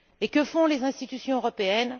Et que font les institutions européennes?